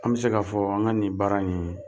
An bi se ka fɔ an ka nin baara nin